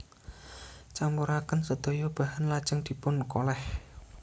Campuraken sedaya bahan lajeng dipun kolèh